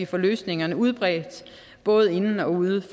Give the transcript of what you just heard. får løsningerne udbredt både inden og uden